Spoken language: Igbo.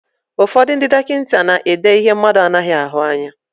Ụfọdụ ndị dọkịta na-èdé ihe mmadụ anaghị ahụ anya.